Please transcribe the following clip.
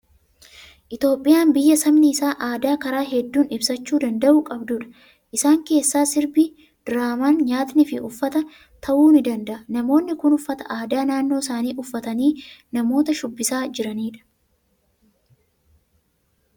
Itoophiyaan biyya sabni isaa aadaa karaa hedduun ibsachuu danda'u qabdudha. Isaan keessaa sirbi, diraamaan, nyaatnii fi uffata ta'uu ni danda'a. Namoonni kun uffata aadaa naannoo isaanii uffatanii namoota shubbisaa jiranidha.